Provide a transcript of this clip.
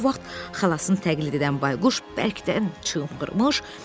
Elə bu vaxt xalasını təqlid edən Bayquş bərkdən çığırmış.